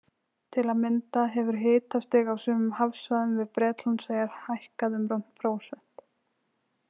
Til að mynda hefur hitastig á sumum hafsvæðum við Bretlandseyjar hækkað um rúmt prósent.